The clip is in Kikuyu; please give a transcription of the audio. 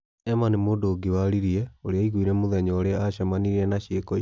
'Emma' nĩ mũndũ ũngĩ waririe ũrĩa aaiguire mũthenya ũrĩa aacemanirie na ciĩko icio.